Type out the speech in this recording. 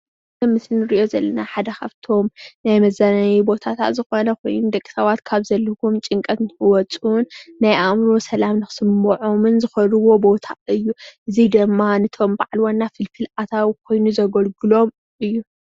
እዚ ምስሊ ንርኦ ዘለና ሓደ ካብቶም ናይ መዘናነይ ቦታ ዝኮነ ኮይኑ ደቂ ሰባት ካብ ዘሎዎም ጭንቀት ንክወፁን ናይ ኣእምሮ ሰላም ክስመኦምን ዝከድዎ ቦታ እዩ። እዚ ድማ ነቶም ባዓል ዋና ፍልፍል ኣታዊ ኮይኑ ዘገልግሎም እዩ።